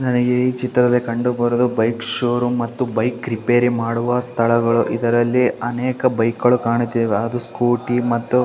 ನನಗೆ ಈ ಚಿತ್ರದಲ್ಲಿ ಕಂಡು ಬರುವುದು ಬೈಕ್ ಷೋರೂಮ್ ಮತ್ತು ಬೈಕ್ ರಿಪೇರಿ ಮಾಡುವ ಸ್ಥಳಗಳು ಇದರಲ್ಲಿ ಅನೇಕ ಬೈಕ್ ಗಳು ಕಾಣುತ್ತಿವೆ ಅದು ಸ್ಕ್ಯೂಟಿ ಮತ್ತು.